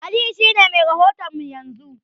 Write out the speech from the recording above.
Aliyu shi ne mai rahoto mu yanzu.